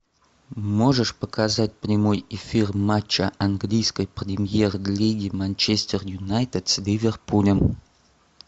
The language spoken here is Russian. можешь показать прямой эфир матча английской премьер лиги манчестер юнайтед с ливерпулем